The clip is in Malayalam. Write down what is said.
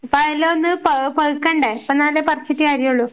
ഇപ്പ അതെല്ലാം ഒന്ന് പ പഴുക്കണ്ടേ എന്നാലല്ലേ പറച്ചിട്ട് കാര്യൊള്ളു.